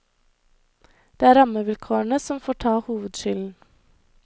Det er rammevilkårene som får ta hovedskylden.